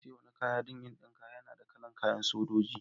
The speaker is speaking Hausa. Na siya wani kaya don n'dinka. Yana da kala'n kayan Sojoji.